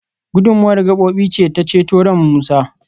gudummawar gabobi ce ta ceto ran Musa